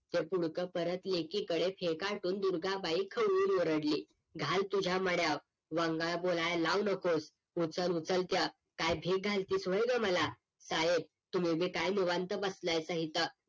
ते पुडकं परत लेकी कडे खेकाटून दुर्गा बाई खवळून ओरडली घाल तुझ्या मड्याव वंगाळ बोलाय ला लावू नकोस उचल उचल त्य काय भीक घालतेस व्ह ग मला साहेब तुम्ही बी काय निवांत बसलया का इथं